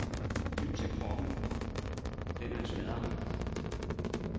Lyt til kroppen, den er en sladrehank.